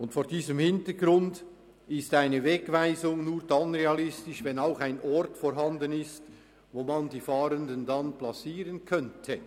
Und vor diesem Hintergrund ist eine Wegweisung nur dann realistisch, wenn auch ein Ort vorhanden ist, wo man die Fahrenden platzieren könnte.